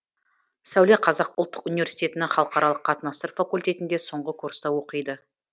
сәуле қазақ ұлттық университетінің халықаралық қатынастар факультетінде соңғы курста оқиды